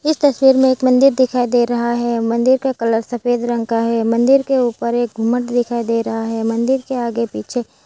तस्वीर में एक मंदिर दिखाई दे रहा है मंदिर का कलर सफेद रंग का है मंदिर के ऊपर एक मट दिखाई दे रहा है मंदिर के आगे पीछे --